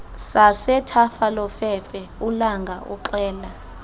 sasethafalofefe ulanga uxela